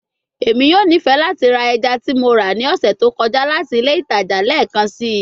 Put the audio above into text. Emi yoo nifẹ lati ra ẹja ti Mo ra ni ọsẹ to kọja lati ile itaja lẹẹkansi